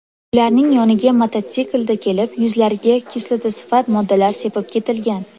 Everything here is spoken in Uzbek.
Ularning yoniga mototsiklda kelib, yuzlariga kislotasifat moddalar sepib ketilgan.